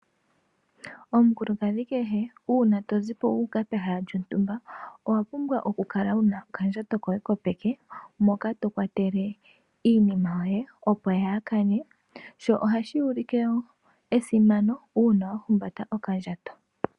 Omukulukadhi kehe uuna tozipo wuuka pehala lyontumba owa pumbwa oku kala wuna okandjato koye kopeke moka tokwatele iimima yoye opo kayi kane, sho ohashi ulike esimano uuna wahumbata okandjato.